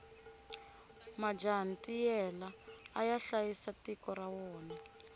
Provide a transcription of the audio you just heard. majaha ntiyela aya hlayisa tiko ra wona